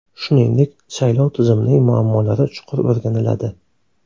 Shuningdek, saylov tizimining muammolari chuqur o‘rganiladi.